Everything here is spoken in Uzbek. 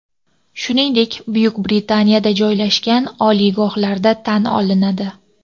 shuningdek Buyuk Britaniyada joylashgan) oliygohlarda tan olinadi.